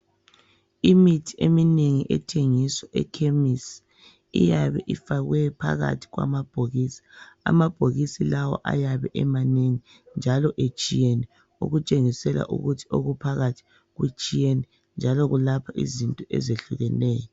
imithi eminengi ethengiswa ekhemesi iyabe ifakwe phakathi kwamabhokisi amabhokisi lawa ayabe emanengi njalo etshiyene okutshengisela ukuthi okuphakathi kutshiyene njalo kulapha izinto ezehlukeneyo